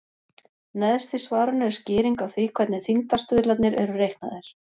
Neðst í svarinu er skýring á því hvernig þyngdarstuðlarnir eru reiknaðir.